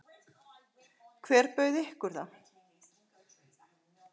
Hver bauð ykkur það?